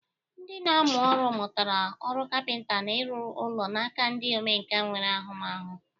Ndị na-amụ ọrụ mụtara ọrụ kapịnta na ịrụ ụlọ n'aka ndị omenkà nwere ahụmahụ.